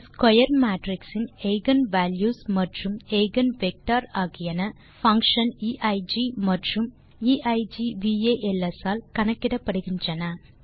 ஒரு square matrix இன் eigen values மற்றும் எய்கென் வெக்டர் ஆகியன பங்ஷன் eig மற்றும் eigvals ஆல் கணக்கிடப்படுகின்றன